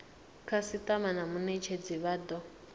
khasitama na munetshedzi vha do